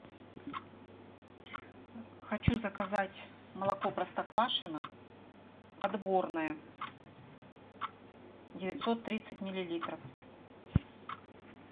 хочу заказать молоко простоквашино отборное девятьсот тридцать миллилитров